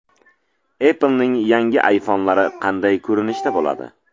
Apple’ning yangi iPhone’lari qanday ko‘rinishda bo‘ladi?.